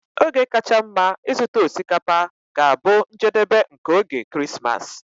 Oge kacha mma ịzụta osikapa ga-abụ njedebe nke oge Krismas.